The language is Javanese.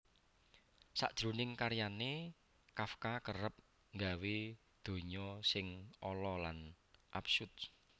Sajroning karyané Kafka kerep nggawé donya sing ala lan absurd